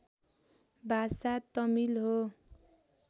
भाषा तमिल हो